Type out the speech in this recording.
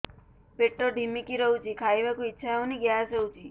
ପେଟ ଢିମିକି ରହୁଛି ଖାଇବାକୁ ଇଛା ହଉନି ଗ୍ୟାସ ହଉଚି